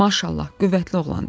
"Maşallah, qüvvətli oğlandı!